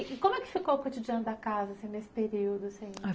E como é que ficou o cotidiano da casa assim nesse período?